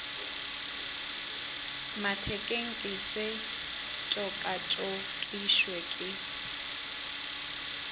mathekeng ke se tšokatšokišwe ke